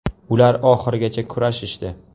Ular oxirigacha kurashishdi.